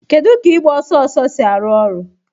Kedu ka ịgba ọsọ ọsọ ọsọ si arụ ọrụ?